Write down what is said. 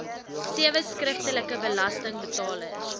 sewe skriftelike belastingbetalers